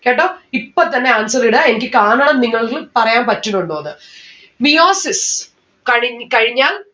കേട്ടോ ഇപ്പൊ തന്നെ answer ഇടാ എനിക്ക് കാണാം നിങ്ങൾക്ക് പറയാൻ പറ്റുന്നുണ്ടോന്ന് meiosis കണിഞ്ഞു കഴിഞ്ഞാൽ